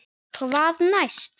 Hvað næst?